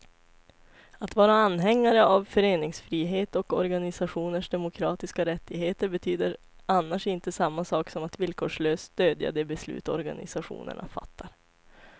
Att vara anhängare av föreningsfrihet och organisationers demokratiska rättigheter betyder annars inte samma sak som att villkorslöst stödja de beslut organisationerna fattar.